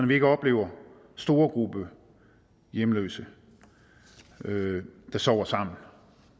vi ikke oplever store grupper af hjemløse der sover sammen